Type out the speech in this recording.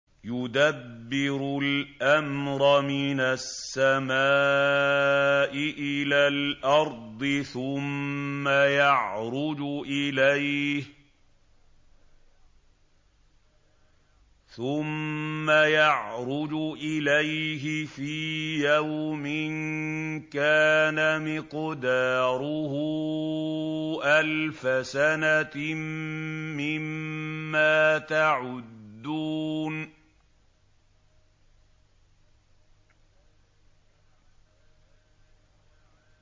يُدَبِّرُ الْأَمْرَ مِنَ السَّمَاءِ إِلَى الْأَرْضِ ثُمَّ يَعْرُجُ إِلَيْهِ فِي يَوْمٍ كَانَ مِقْدَارُهُ أَلْفَ سَنَةٍ مِّمَّا تَعُدُّونَ